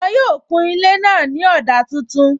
Wọn yóò kun ilé náà ní ọ̀dà tuntun